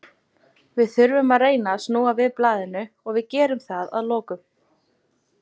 Við þurfum að reyna að snúa við blaðinu og við gerum það að lokum.